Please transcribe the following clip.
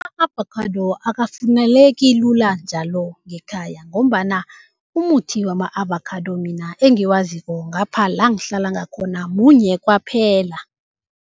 Ama-avocado akafumaneki lula njalo ngekhaya ngombana umuthi wama-avocado mina engiwaziko ngapha la ngihlala ngakhona munye kwaphela.